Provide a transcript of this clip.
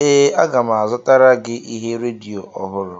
Ee, aga m azụtara gị ihe redio ọhụrụ